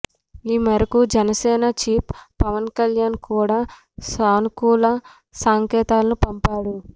ఈ మేరకు జనసేన చీఫ్ పవన్కళ్యాణ్ కూడ సానుకూల సంకేతాలను పంపారు